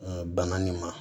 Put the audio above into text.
Banan nin ma